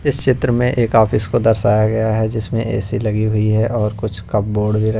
इस चित्र में एक ऑफिस को दर्शाया गया है जिसमें ए_सी लगी हुई है और कुछ कबर्ड भी--